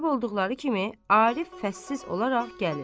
Qayıb olduqları kimi, Arif fəssiz olaraq gəlir.